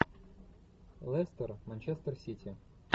лестер манчестер сити